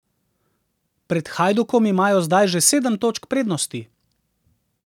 Pred Hajdukom imajo zdaj že sedem točk prednosti.